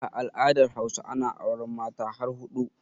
A al'adar Hausa ana auren Mata har huɗu